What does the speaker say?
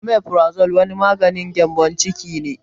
Omeferazole wani maganin gƴambon ciki ne